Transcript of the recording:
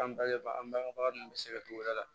An bɛɛ ba an bangebaga ninnu bɛ se ka tugu u yɛrɛ la